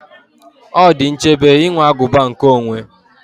Ọ dị nchebe inwe aguba nkeonwe